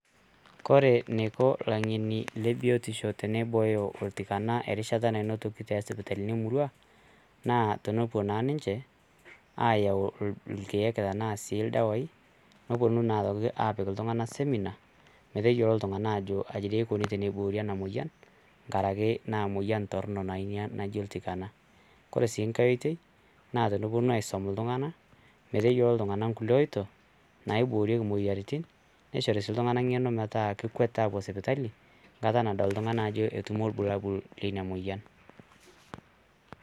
Ore neiko ilaing'eni le biotisho teneibooyo oltikana erishata nanotoki te sipitalini emurua naa tenepo naa ninche ayau ilkiek anaa sii ldawaii neponu naa aitoki aapik ltung'ana simina maeyiolo ltung'ana aajo kaji dei eikoni teneiboori ena moyian ngaraki naa moyian torrino naa inia naji ltikana, kore sii inkae oitoi naa teneponu aisum ltungana meteyiolo ltungana nkule oito naiboorieki moyiarritin neichori sii ltungana ing'eno metaa kekwet aapo sipitali nkata nadol ltung'ani ajo etumo ilbulabul le ina moyian.